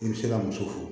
I bɛ se ka muso furu